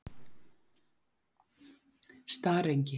Starengi